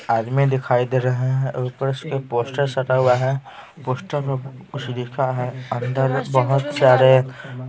आदमी दिखाई दे रहे हैं ऊपर से एक पोस्टर सटा हुआ है पोस्टर में कुछ लिखा है अंदर बहुत सारे--